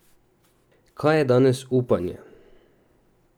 Kaj je danes upanje?